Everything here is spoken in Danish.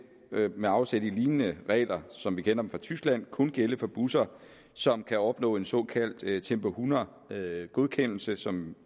med afsæt i lignende regler som vi kender fra tyskland kun gælde for busser som kan opnå en såkaldt tempo hundrede godkendelse som